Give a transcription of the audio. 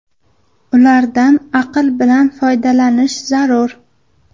Ulardan aql bilan foydalanish zarur.